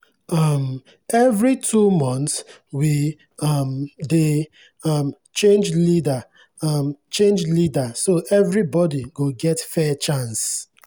um every two months we um dey um change leader um change leader so everybody go get fair chance.